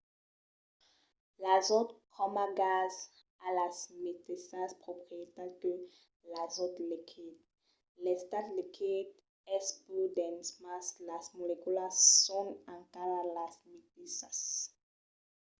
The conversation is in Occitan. l'azòt coma gas a las meteissas proprietats que l'azòt liquid. l'estat liquid es pus dens mas las moleculas son encara las meteissas